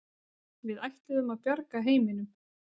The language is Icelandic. Við ætluðum að bjarga heiminum.